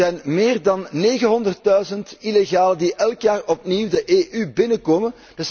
Er zijn meer dan 900000 illegalen die elk jaar opnieuw de EU binnenkomen.